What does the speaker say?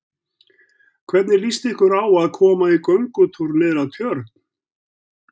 Hvernig líst ykkur á að koma í göngutúr niður að Tjörn?